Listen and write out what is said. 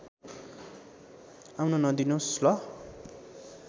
आउन नदिनुस् ल